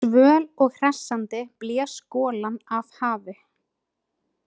Svöl og hressandi blés golan af hafi.